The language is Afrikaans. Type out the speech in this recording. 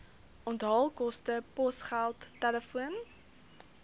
onthaalkoste posgeld telefoon